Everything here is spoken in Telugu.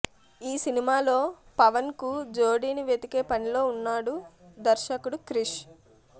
ఈ సినిమాలో పవన్కు జోడిని వెతికే పనిలో ఉన్నాడు దర్శకుడు క్రిష్